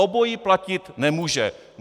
Obojí platit nemůže.